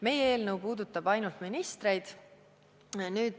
Meie eelnõu puudutab ainult ministreid.